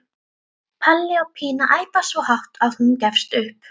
Palli og Pína æpa svo hátt að hún gefst upp.